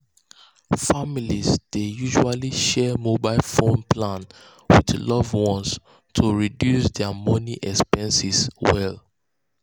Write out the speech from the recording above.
families dey usually share mobile phone plans with loved ones um to reduce dia montly expenses well.